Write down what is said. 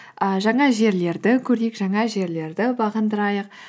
і жаңа жерлерді көрейік жаңа жерлерді бағындырайық